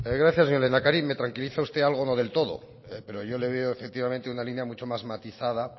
gracias señor lehendakari me tranquiliza usted algo no del todo pero yo le veo efectivamente una línea mucho más matizada